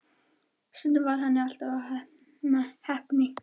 Stundum varð henni allt að heppni.